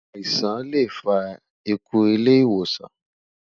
àìsàn lẹ fà ikú ilé ìwòsan